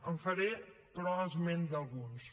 en faré però esment d’alguns